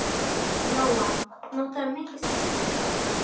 Lóa: Notarðu mikið strætó?